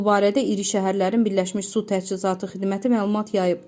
Bu barədə iri şəhərlərin Birləşmiş Su Təchizatı xidməti məlumat yayıb.